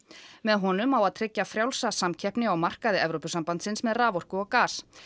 með honum á að tryggja frjálsa samkeppni á markaði Evrópusambandsins með raforku og gas